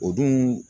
O dun